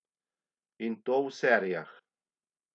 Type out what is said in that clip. In to v serijah.